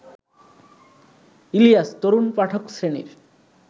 ইলিয়াস তরুণ পাঠক শ্রেণীর